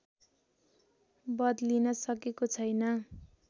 बदलिन सकेको छैन